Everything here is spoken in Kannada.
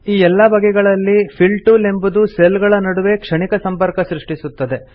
ಈ ಎಲ್ಲಾ ಬಗೆಗಳಲ್ಲಿ ಫಿಲ್ ಟೂಲ್ ಎಂಬುದು ಸೆಲ್ ಗಳ ನಡುವೆ ಕ್ಷಣಿಕ ಸಂಪರ್ಕ ಸೃಷ್ಟಿಸುತ್ತದೆ